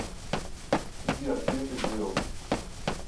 сбер ты это сделал